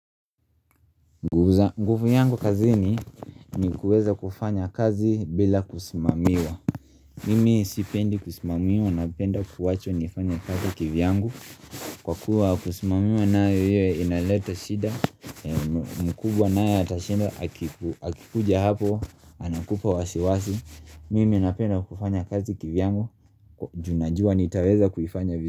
Gufu yangu kazini ni kuweza kufanya kazi bila kusimamiwa Mimi sipendi kusimamiwa napenda kuwachwa niifanya kazi kivi yangu Kwa kuwa kusimamiwa nae inaleta shida mkubwa nae atashinda akikuja hapo anakupa wasi wasi Mimi napenda kufanya kazi kivi yangu ju najua nitaweza kufanya vizu.